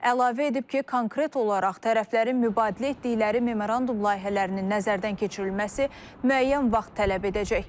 Əlavə edib ki, konkret olaraq tərəflərin mübadilə etdikləri memorandum layihələrinin nəzərdən keçirilməsi müəyyən vaxt tələb edəcək.